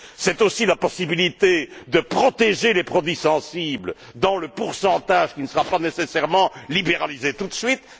C'est aussi la possibilité de protéger les produits sensibles dans le pourcentage, qui ne sera pas nécessairement libéralisé tout de suite.